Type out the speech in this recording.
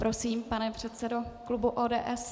Prosím, pane předsedo klubu ODS.